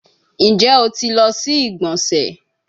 Njẹ o ti lọ si igbonse?